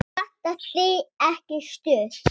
Vantar þig ekki stuð?